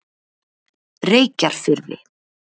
Reykjarfirði